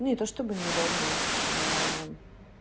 не то чтобы неудобно